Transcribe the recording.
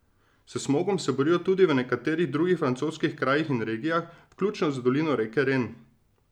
S smogom se borijo tudi v nekaterih drugih francoskih krajih in regijah, vključno z dolino reke Ren.